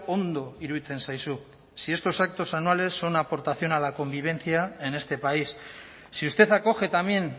ondo iruditzen zaizu si estos actos anuales son aportación a la convivencia en este país si usted acoge también